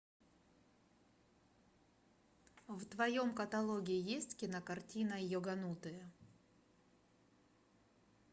в твоем каталоге есть кинокартина йоганутые